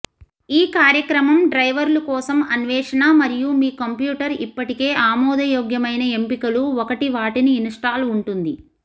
ఈ కార్యక్రమం డ్రైవర్లు కోసం అన్వేషణ మరియు మీ కంప్యూటర్ ఇప్పటికే ఆమోదయోగ్యమైన ఎంపికలు ఒకటి వాటిని ఇన్స్టాల్ ఉంటుంది